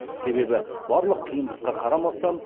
себебі барлық қиындыққа қарамастан